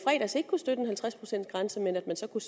støtte en halvtreds procents grænse men så kunne